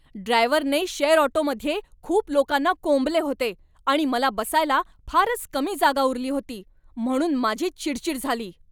ड्रायव्हरने शेअर ऑटोमध्ये खूप लोकांना कोंबले होते आणि मला बसायला फारच कमी जागा उरली होती, म्हणून माझी चिडचीड झाली.